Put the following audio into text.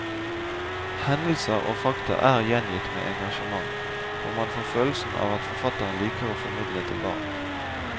Hendelser og fakta er gjengitt med engasjement, og man får følelsen av at forfatterne liker å formidle til barn.